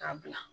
K'a bila